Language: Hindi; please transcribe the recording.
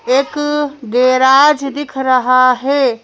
एक गैराज दिख रहा है।